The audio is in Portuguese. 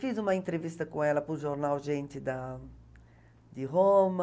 Fiz uma entrevista com ela para o jornal Gente da de Roma.